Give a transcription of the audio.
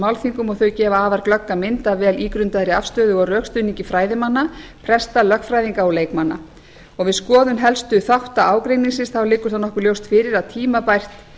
málþingum og þau gefa afar glögga mynd af vel ígrundaðri afstöðu og rökstuðningi fræðimanna presta lögfræðinga og leikmanna við skoðun helstu þátta ágreiningsins liggur nokkuð ljóst fyrir að tímabært